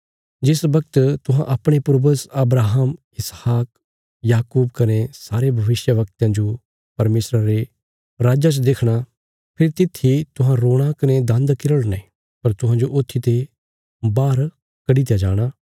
जिस बगत तुहां अपणे पूर्वज अब्राहम इसहाक याकूब कने सारे भविष्यवक्तयां जो परमेशरा रे राज्जा च देखणा फेरी तित्थी तुहां रोणा कने दान्द किरड़ने पर तुहांजो ऊत्थीते बाहर कडी दित्या जाणा